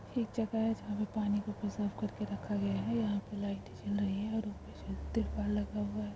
एक जगह है जहाँ पानी साफ़ करके रखा गया है । यहाँ पे लाइटें जल रही हैं और ऊपर से त्रिपाल लगा हुआ है।